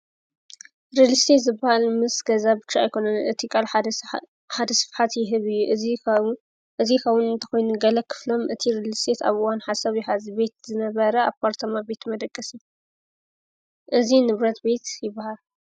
ርሊስቴት ዝበሃል ምስ ገዛ ብቻ ኣይኮንን እቲ ቓል ሓደ ስፍሓት ይህብ እዝ ኸውን እንተኾይኒገለ ኽፍሎም እቲ ርሊስቴት ኣብዋን ሓሰብ የሃዝ ቤት ዝነበረ ኣባርተማ ቤት መደቀሲ እዙይ ንብረት ቤት ይበሃር።